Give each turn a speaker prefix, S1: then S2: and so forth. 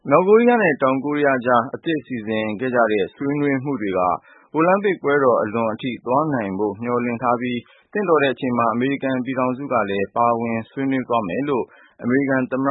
S1: မြောက်ကိုရီးယားနဲ့ တောင်ကိုရီးယား ကြား အသစ် စီစဉ်ခဲ့ကြတဲ့ ဆွေးနွေးမှုတွေက အိုလံပစ်ပွဲတော် အလွန် အထိ သွားနိုင်ဖို့ မျှော်လင့်ထားပြီး သင့်တော်တဲ့ အချိန်မှာ အမေရိကန် ပြည်ထောင်စုလ
S2: ည်း ပါဝင်မယ်လို့ အမေရိကန် သမ္မ